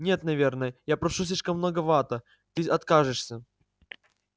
нет наверное я прошу слишком многовато ты откажешься